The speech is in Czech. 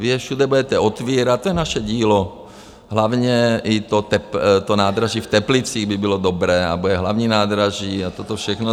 Vy je všude budete otvírat - to je naše dílo, hlavně i to nádraží v Teplicích by bylo dobré, a bude hlavní nádraží a toto všechno.